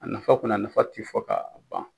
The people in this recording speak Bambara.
A nafa kɔni, a nafa ti fɔ k'a ban.